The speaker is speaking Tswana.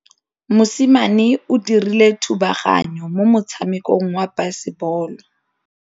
Mosimane o dirile thubaganyô mo motshamekong wa basebôlô.